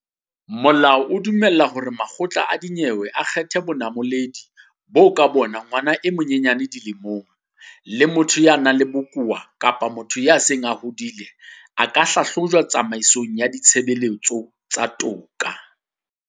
Molao ona o dumella hore makgotla a dinyewe a kgethe bonamoledi boo ka bona ngwana e monyenyane dilemong, le motho ya nang le bokowa kapa motho ya seng a hodile a ka hlahlojwa tsamaisong ya ditshebeletso tsa toka.